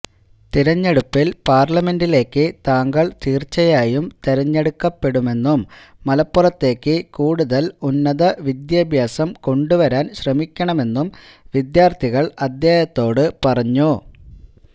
തെരഞ്ഞെടുപ്പിൽ പാർലമെന്റിലേക്ക് താങ്കൾ തീർച്ചയായും തെരഞ്ഞെടുക്കപ്പെടുമെന്നും മലപ്പുറത്തേക്ക് കൂടുതൽ ഉന്നത വിദ്യാഭ്യാസം കൊണ്ടുവരാൻ ശ്രമിക്കണമെന്നും വിദ്യാർഥികൾ അദ്ദേഹത്തോട് പറഞ്ഞു